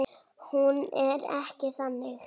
Hún er ekki þannig.